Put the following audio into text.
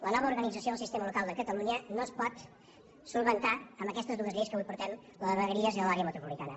la no va organització del sistema local de catalunya no es pot resoldre amb aquestes dues lleis que avui portem la de vegueries i la de l’àrea metropolitana